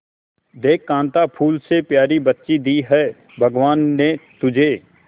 देख कांता फूल से प्यारी बच्ची दी है भगवान ने तुझे